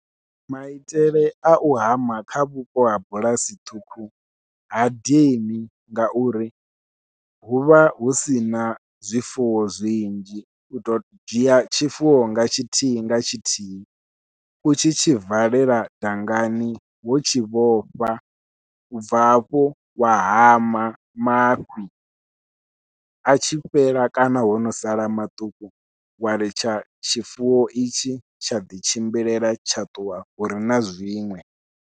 Maitele au hama kha vhupo ha bulasi ṱhukhu ha dini, ngauri huvha hu sina zwifuwo zwinzhi u to dzhia tshifuwo nga tshithihi nga tshithihi u tshi tshi valela dangani wo tshi vhofha, ubva hafho wa hama mafhi atshi fhela kana hono sala maṱuku, wa ḽitsha tshifuwo itshi tsha ḓi tshimbilela tsha ṱuwa hure na zwiṅwe.